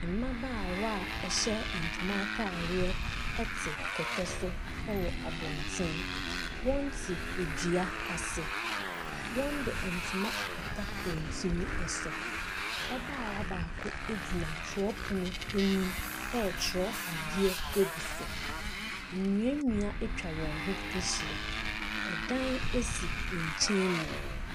Mmabaawa a ɛhyɛ ntoma ataareɛ ɛte kɛtɛ so ɛwɔ abɔnten. Wɔn te adua ase. Wɔn de ntoma akata wɔn tiri ɛso. Ababaawa baako egyina twerɛpono anim ɛtwerɛ adeɛ egu so. Nnua nnua etwa wɔn ho ahyia. Ɛdan esi nkyɛn mu.